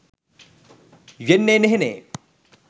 යෙන්නේ නෙහෙනේ.